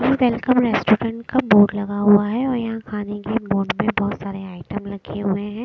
Welcome restaurant का board लगा हुआ है और यहाँ खाने के बोर्ड में बहुत सारे आइटम रखे हुए हैं।